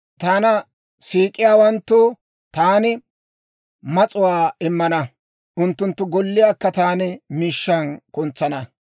Taana siik'iyaawanttoo taani mas'uwaa immana; unttunttu golliyaakka taani miishshan kuntsana.